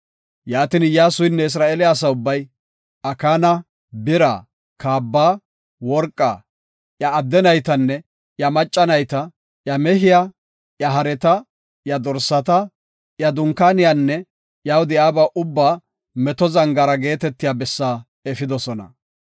Yaatin Iyyasuynne Isra7eele asa ubbay, Akaana, bira, kaaba, worqaa, iya adde naytanne iya macca nayta, iya mehiya, iya hareta, iya dorsata, iya dunkaaniyanne iyaw de7iyaba ubbaa Meto Zangaara geetetiya bessa efidosona.